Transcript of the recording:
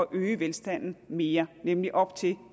øge velstanden mere nemlig op til